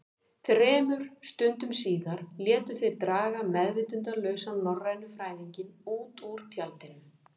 Þremur stundum síðar létu þeir draga meðvitundarlausan norrænufræðinginn út úr tjaldinu.